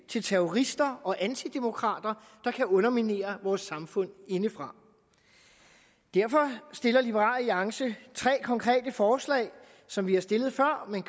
til terrorister og antidemokrater der kan underminere vores samfund indefra derfor stiller liberal alliance tre konkrete forslag som vi har stillet før men